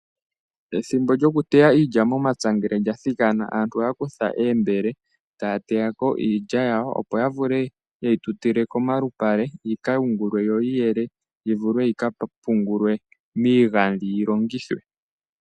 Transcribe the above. Ethimbo lyokuteya iilya momapya aantu ohaya kutha oombele taya teya ko iilya yawo, opo ya vule oku yi tutila komalupale yi ka yungulwe yo yi yelwe yi vule yi ka pungulwe miigandhi yi longithwe.